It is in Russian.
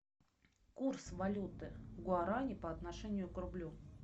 курс валюты гуарани по отношению к рублю